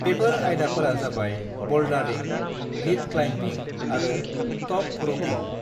बेफोर आयदाफोरा जाबाय ब'ल्डारिं, लीड क्लाइम्बिं आरो ट'प र'पिं।